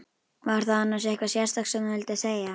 Var það annars eitthvað sérstakt sem þú vildir segja?